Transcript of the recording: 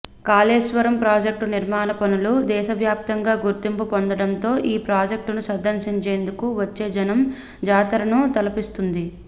Kaleshwaram project నిర్మాణ పనులు దేశ వ్యాప్తంగా గుర్తింపు పొందడంతో ఈ ప్రాజెక్టును సందర్శించేందుకు వచ్చే జనం జాతరను తలపిస్తుంది